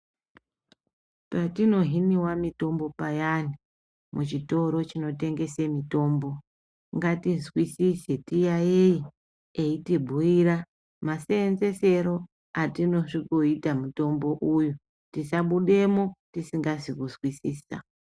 Patinohinwa mitombo payani muchitoro chinotengese mitombo ngatizwisise tiyayeye eitibhuyira masenzesero atinosvikoita mutombo uyu tisabudemwo tisingazi kunzwisisa.